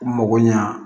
U mago ɲa